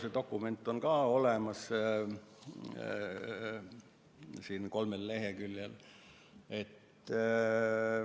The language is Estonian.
See dokument on ka olemas, kolmel leheküljel.